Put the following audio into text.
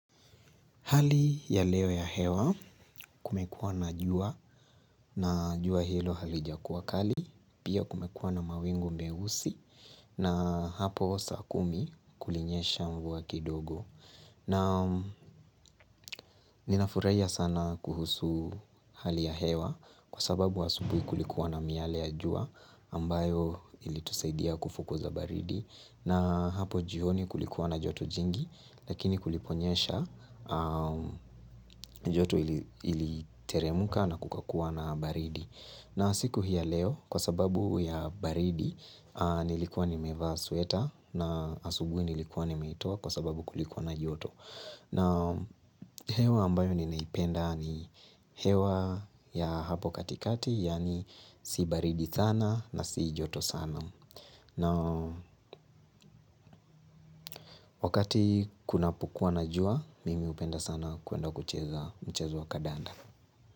Hali ya leo ya hewa kumekuwa na jua na jua hilo halijakuwa kali, pia kumekuwa na mawingu meusi na hapo saa kumi kulinyesha mvua kidogo. Na ninafuraia sana kuhusu hali ya hewa kwa sababu asubui kulikuwa na miale ya jua ambayo ilitusaidia kufukuza baridi na hapo jioni kulikuwa na joto jingi lakini kuliponyesha joto iliteremka na kukakuwa na baridi. Na siku hii ya leo kwa sababu ya baridi nilikuwa nimevaa sweta na asubui nilikuwa nimeitoa kwa sababu kulikuwa na joto. Hewa ambayo ninaipenda ni hewa ya hapo katikati, yaani si baridi sana na si joto sana. Na wakati kunapokua na jua, mimi hupenda sana kuenda kucheza mchezo wa kadanda.